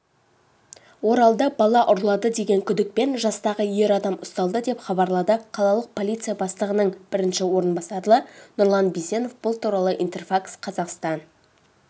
оралда бала ұрлады деген күдікпен жастағы ер адам ұсталды деп хабарлады қалалық полиция бастығының бірінші орынбасары нұрлан бисенов бұл туралы интерфакс-қазақстан